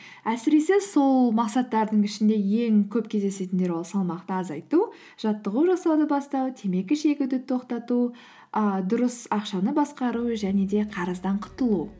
әсіресе сол мақсаттардың ішінде ең көп кездесетіндер ол салмақты азайту жаттығу жасауды бастау темекі шегуді тоқтату ыыы дұрыс ақшаны басқару және де қарыздан құтылу